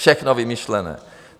Všechno vymyšlené.